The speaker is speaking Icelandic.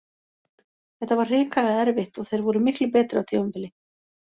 Þetta var hrikalega erfitt og þeir voru miklu betri á tímabili.